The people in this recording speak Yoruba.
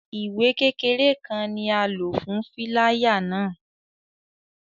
Iwe kekere kan ni a lo fun filaya náa